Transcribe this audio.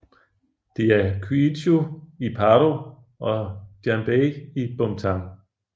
Det er Kyichu i Paro og Jambey i Bumthang